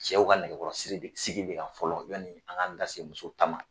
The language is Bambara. Cɛw ka nɛgɛkɔrɔsi sigi bɛ ka fɔlɔ yanni an k'an da se musow ta ma